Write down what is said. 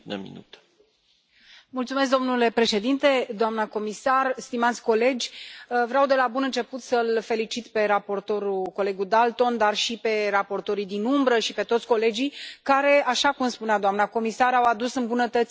Domnule președinte, doamnă comisar, stimați colegi, vreau de la bun început să l felicit pe raportor, colegul Dalton, dar și pe raportorii din umbră și pe toți colegii care, așa cum spunea doamna comisar, au adus îmbunătățiri la propunerea Comisiei.